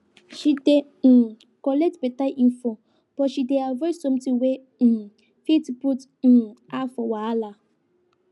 she dey um collect better info but she dey avoid something wey um fit put um her for wahala